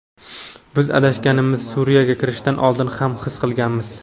Biz adashganimizni Suriyaga kirishdan oldin ham his qilganmiz.